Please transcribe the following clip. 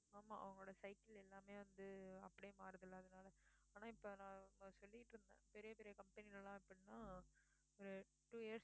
ஆமா அவங்களோட cycle எல்லாமே வந்து அப்படியே மாறுதுல்ல அதனால ஆனா இப்போ நான் சொல்லிட்டு இருந்தேன் பெரிய பெரிய company லே எல்லாம் எப்படின்னா அஹ் two years